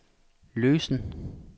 løsen